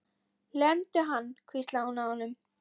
Lemdu hann hvíslaði hún að honum.